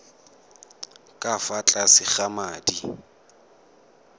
ka fa tlase ga madi